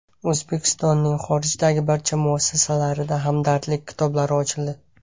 O‘zbekistonning xorijdagi barcha muassasalarida hamdardlik kitoblari ochildi.